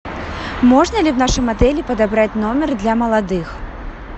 можно ли в нашем отеле подобрать номер для молодых